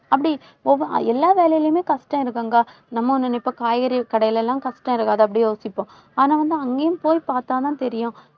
அப்படி ஒவ்வொ~ எல்லா வேலையிலுமே கஷ்டம் இருக்கும்க்கா. நம்ம நினைப்போம் காய்கறி கடையிலெல்லாம் கஷ்டம் இருக்காது. அப்படியே யோசிப்போம். ஆனா வந்து அங்கேயும் போய் பார்த்தாதான் தெரியும்.